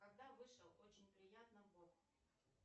когда вышел очень приятно бог